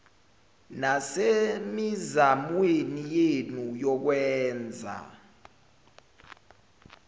nasemizamweni yenu yokwenza